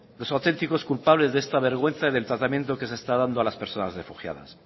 los auténticos culpables de esta vergüenza y del tratamiento que se está dando a las personas refugiadas